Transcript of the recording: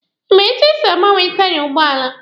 Ị ma etu esi agbanwe taiya ụgbọala?